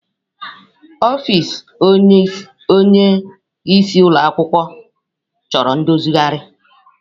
Ọfịs onyeisi ụlọ ọrụ chọrọ ndozigharị.